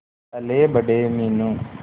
पलेबड़े Meenu